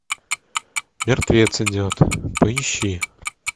мертвец идет поищи